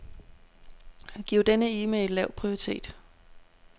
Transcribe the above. Giv denne e-mail lav prioritet.